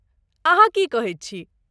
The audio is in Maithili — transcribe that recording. अहाँ की कहैत छी?